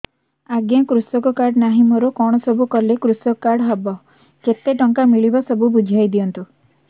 ଆଜ୍ଞା କୃଷକ କାର୍ଡ ନାହିଁ ମୋର କଣ ସବୁ କଲେ କୃଷକ କାର୍ଡ ହବ କେତେ ଟଙ୍କା ମିଳିବ ସବୁ ବୁଝାଇଦିଅନ୍ତୁ